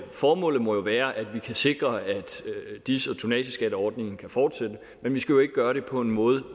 formålet må være at vi kan sikre at dis og tonnageskatteordningen kan fortsætte men vi skal jo ikke gøre det på en måde